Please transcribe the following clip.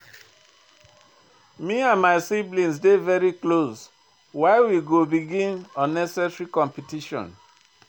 Me and my siblings dey very close, why we go begin unnecessary competition?